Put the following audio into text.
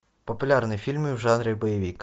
популярные фильмы в жанре боевик